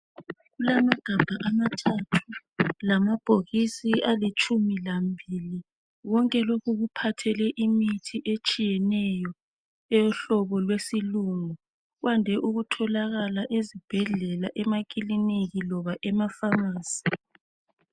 kulamagabha amathathu lamabhokisi alitshumu lambili konke lokhu kuphathele imitshi etshiyeneyo eyohlobo lwesilungu kwande ukutholakala ezibhedlela emakilinika loba ema phamarcy